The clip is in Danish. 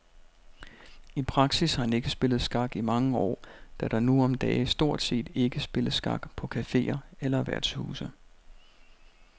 I praksis har han ikke spillet skak i mange år, da der nu om dage stort set ikke spilles skak på caféer eller værtshuse.